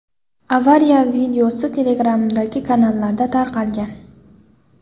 Avariya videosi Telegram’dagi kanallarda tarqalgan.